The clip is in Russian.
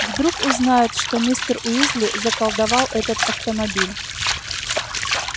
вдруг узнают что мистер уизли заколдовал этот автомобиль